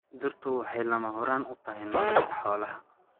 Dhirtu waxay lama huraan u tahay nolosha xoolaha.